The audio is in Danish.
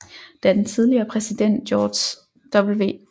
Da den tidligere præsident George W